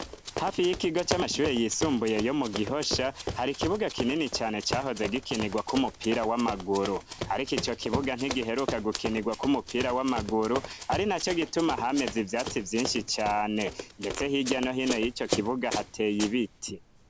Hafi y'ikigo c'amashure yisumbuye yo mu gihosha hari ikibuga kinini cane cahoze gikinirwa kw'umupira w'amaguru, ariko ico kibuga ntigiheruka gukinirwa kw'umupira w'amaguru ari na co gituma hameze ivyatsi vyinshi cane mbetse hirya no hino y'ico kibuga hateye ibiti.